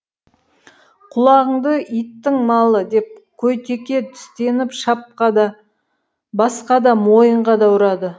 құлағыңды иттің малы деп қойтеке тістеніп шапқа да басқа да мойынға да ұрады